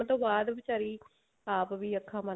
ਉਸਤੋਂ ਬਾਅਦ ਵਿਚਾਰੀ ਆਪ ਵੀ ਅੱਖਾ